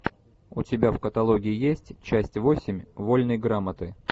у тебя в каталоге есть часть восемь вольной грамоты